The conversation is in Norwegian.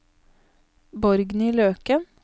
Borgny Løken